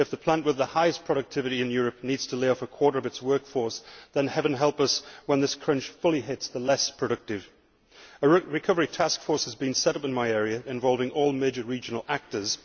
If the plant with the highest productivity in Europe needs to lay off a quarter of its workforce, then heaven help us when this crunch fully hits the less productive. A recovery task force has been set up in my area involving all major regional actors.